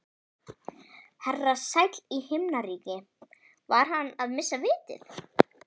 Herra sæll í himnaríki, var hann að missa vitið?